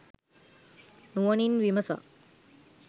නුවණින් විමසා